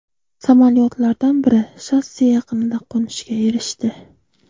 Samolyotlardan biri shosse yaqinida qo‘nishga erishdi.